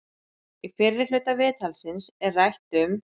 Í fyrri hluta viðtalsins er rætt um